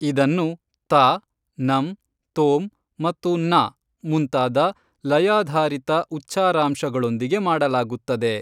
ಇದನ್ನು ತಾ, ನಂ, ತೋಂ ಮತ್ತು ನಾ ಮುಂತಾದ ಲಯಾಧಾರಿತ ಉಚ್ಚಾರಾಂಶಗಳೊಂದಿಗೆ ಮಾಡಲಾಗುತ್ತದೆ.